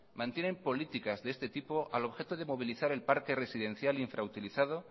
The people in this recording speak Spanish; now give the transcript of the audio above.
mantienen políticas de este tipo al objeto de movilidad el parque residencial infrautilizado